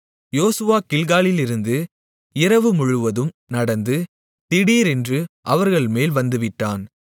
யோசுவா கில்காலிலிருந்து இரவுமுழுவதும் நடந்து திடீரென்று அவர்கள்மேல் வந்துவிட்டான்